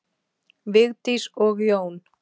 Vigdís og Jón.